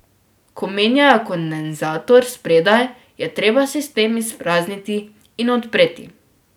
Ko menjajo kondenzator spredaj, je treba sistem izprazniti in odpreti.